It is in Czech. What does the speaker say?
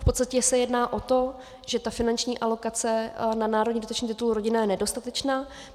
V podstatě se jedná o to, že ta finanční alokace na národní dotační titul Rodina je nedostatečná.